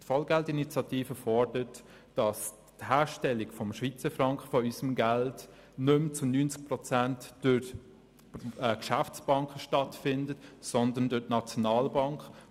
Die Vollgeld-Initiative fordert, dass die Herstellung des Schweizer Frankens nicht mehr zu 90 Prozent durch die Geschäftsbanken stattfindet, sondern durch die Nationalbank.